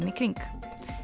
í kring